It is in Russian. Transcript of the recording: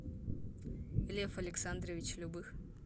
лев александрович любых